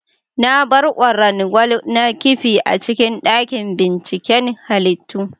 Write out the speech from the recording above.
Na bar ƙwarangwal na ƙifi a cikin daƙin ɓinciƙen halittu.